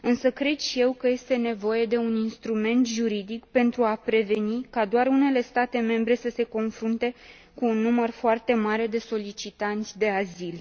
Cred și eu că este nevoie de un instrument juridic pentru a preveni ca doar unele state membre să se confrunte cu un număr foarte mare de solicitanți de azil.